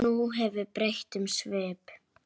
Nú hefur breytt um svip.